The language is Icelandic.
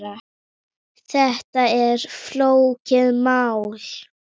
Þetta er ekki flókið mál.